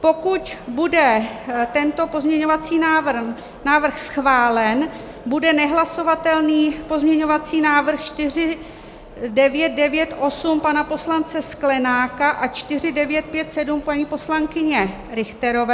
Pokud bude tento pozměňovací návrh schválen, bude nehlasovatelný pozměňovací návrh 4998 pana poslance Sklenáka a 4957 paní poslankyně Richterové.